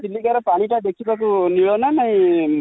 ଚିଲିକା ର ପାଣି ଟା ଦେଖିବାକୁ ନୀଳ ନା ନାଇ